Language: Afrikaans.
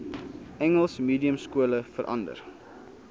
engels mediumskole verander